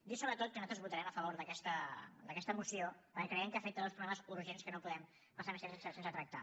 dir sobretot que nosaltres votarem a favor d’aquesta moció perquè creiem que afecta dos problemes urgents que no podem passar més temps sense tractar